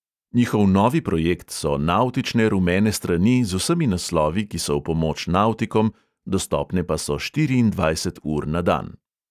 Njihov novi projekt so navtične rumene strani z vsemi naslovi, ki so v pomoč navtikom, dostopne pa so štiriindvajset ur na dan.